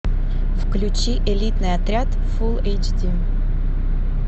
включи элитный отряд фул эйч ди